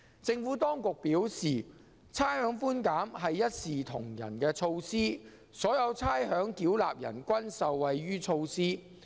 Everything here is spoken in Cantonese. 政府當局表示，差餉寬減是一視同仁的措施，所有差餉繳納人均受惠於措施。